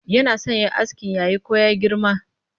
Yana so ya yi askin yayi ko ya girma?